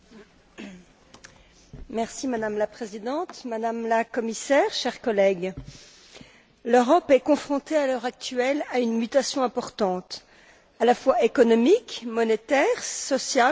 Madame la Présidente, Madame la Commissaire, chers collègues, l'Europe est confrontée à l'heure actuelle à une mutation importante à la fois économique, monétaire, sociale, démographique et migratoire.